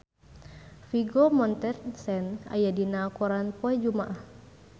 Vigo Mortensen aya dina koran poe Jumaah